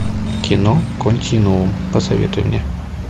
кино континуум посоветуй мне